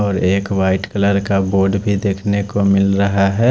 और एक white colour का बोर्ड भी देख नेको मिल रहा है।